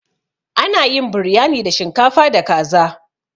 Ana yin Biryani da shinkafa da kaza.